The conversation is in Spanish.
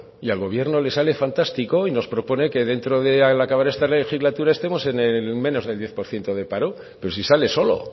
y al gobierno le sale fantástico y nos propone que dentro de al acabar esta legislatura estemos en el menos del diez por ciento de paro pero si sale solo